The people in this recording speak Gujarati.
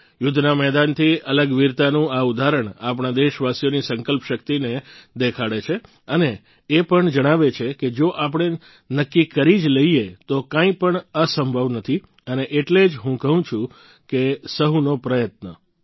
યુદ્ધના મેદાનથી અલગ વીરતાનું આ ઉદાહરણ આપણા દેશવાસીઓની સંકલ્પ શક્તિઓને દેખાડે છે અને એ પણ જણાવે છે કે જો આપણે નક્કી કરી જ લઈએ તો કંઈપણ અસંભવ નથી અને એટલે જ હું કહું છું સહુનો પ્રયત્ન